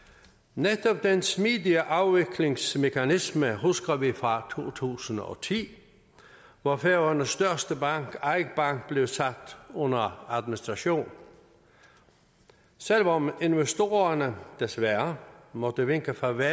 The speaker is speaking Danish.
netop den smidige afviklingsmekanisme husker vi fra to tusind og ti hvor færøernes største bank eik bank blev sat under administration selv om investorerne desværre måtte vinke farvel